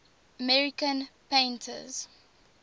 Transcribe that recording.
american painters